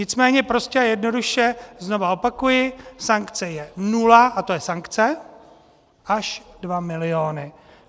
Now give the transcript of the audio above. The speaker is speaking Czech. Nicméně prostě a jednoduše znovu opakuji, sankce je nula, a to je sankce, až 2 miliony.